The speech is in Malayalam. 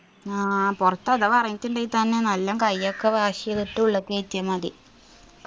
ആ പൊറത്ത് അഥവാ എറങ്ങീട്ടുണ്ടെങ്കി തന്നെ നല്ലോം കയ്യൊക്കെ wash എയ്തിട്ട് ഉള്ളിക്കേറ്റിയ മതി